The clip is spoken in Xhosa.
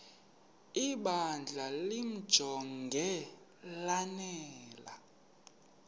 ibandla limjonge lanele